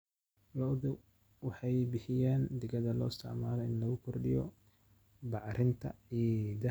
Lo'du waxay bixiyaan digada loo isticmaalo in lagu kordhiyo bacrinta ciidda.